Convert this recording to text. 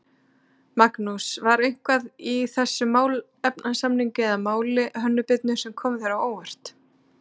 Magnús: var eitthvað í þessum málefnasamning eða máli Hönnu Birnu sem kom þér á óvart?